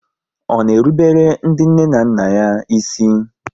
Ọ na erubele ndị nne na nna ya ísì?